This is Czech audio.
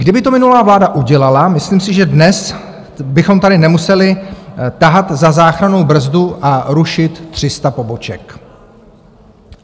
Kdyby to minulá vláda udělala, myslím si, že dnes bychom tady nemuseli tahat za záchrannou brzdu a rušit 300 poboček.